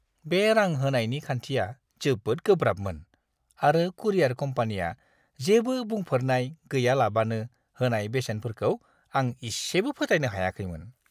बे रां होनायनि खान्थिया जोबोद गोब्राबमोन, आरो कुरियार कम्पानिया जेबो बुंफोरनाय गैयालाबानो होनाय बेसेनफोरखौ आं इसेबो फोथायनो हायाखैमोन!